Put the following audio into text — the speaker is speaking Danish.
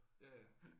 Ja ja